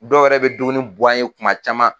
Dɔw wɛrɛ bɛ dumuni bɔ an ye kuma caman.